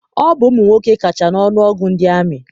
Ọ bụ ụmụnwoke kacha n'ọnụọgụ ndị amị.